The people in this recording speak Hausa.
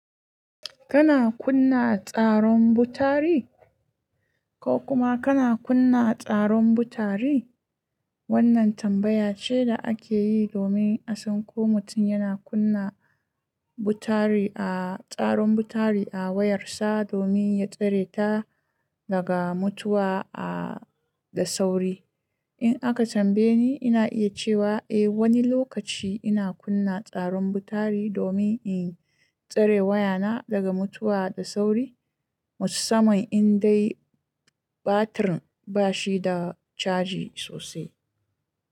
Kana kunna tsaron butari? Ko kuma kana kunna tsaron butari? Wannan tambaya ce da ake yi domin a san ko mutum yana kunna butari a tsaron butari a wayarsa domin ya tsare ta daga mutuwa a da sauri. In aka tambaye ni, ina iya cewa eh, wani lokaci ina kunna tsaron butari domin in tsare wayana daga mutuwa da sauri. Musamman in dai batirin bashi da caji sosai.